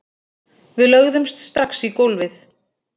Við lögðumst strax í gólfið